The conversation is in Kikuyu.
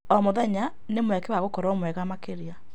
O mũthenya nĩ mweke wa gũkorwo mwega makĩria.